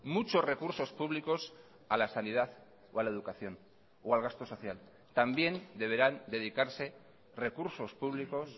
muchos recursos públicos a la sanidad o a la educación o al gasto social también deberán dedicarse recursos públicos